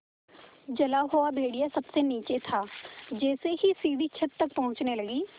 जला हुआ भेड़िया सबसे नीचे था जैसे ही सीढ़ी छत तक पहुँचने लगी